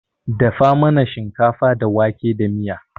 Dafa mana shinkafa da wake da miya.